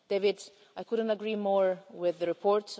David, I couldn't agree more with the report.